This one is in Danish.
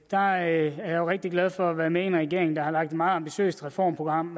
der er jeg jo rigtig glad for være med i en regering der har lagt et meget ambitiøst reformprogram